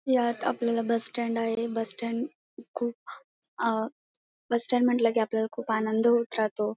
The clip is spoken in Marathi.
ह्यात आपल्याला बस स्टँड आहे बस स्टँड खुप अ बस स्टँड म्हंटल की आपल्याला खूप आनंद होत राहतो.